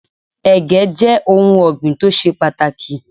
Ẹ̀gẹ́ jẹ́ ohun ọ̀gbìn tó ṣe pàtàkì.